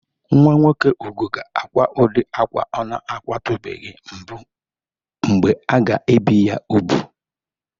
Nwa nwoke Ugo ga-akwa udịri akwa ọ na-akwatụbeghi mbụ mgbe a ga-ebi ya ubu.